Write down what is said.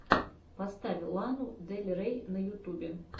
поставь лану дель рей на ютубе